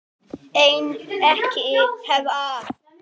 En ekki hvað?